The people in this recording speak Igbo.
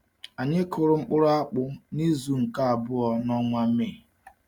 Anyị kụrụ mkpụrụ akpụ n’izu nke abụọ nke ọnwa Mee.